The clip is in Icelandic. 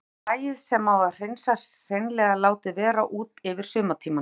Þá er hræið sem á að hreinsa hreinlega látið vera úti yfir sumartímann.